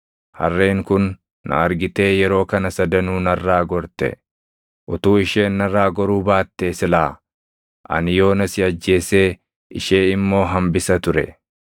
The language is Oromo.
Harreen kun na argitee yeroo kana sadanuu narraa gorte. Utuu isheen narraa goruu baattee silaa ani yoona si ajjeesee ishee immoo hambisa ture.”